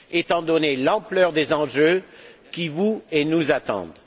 étant donné l'ampleur des enjeux qui vous et nous attendent.